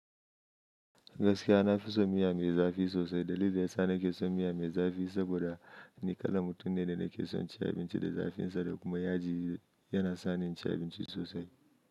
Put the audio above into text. Gaskiya na fi son miya mai zafi sosai. Dalilin da ya sa na ke son miya mai zafi saboda ni kalan mutum ne da na ke son ci abinci da zafinsa da kuma yaji yana sa ni inci abinci sosai.